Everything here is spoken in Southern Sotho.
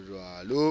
mmonang ha a se a